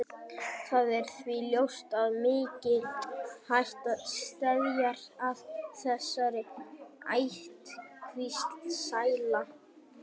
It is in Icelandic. Það er því ljóst að mikil hætta steðjar að þessari ættkvísl sela.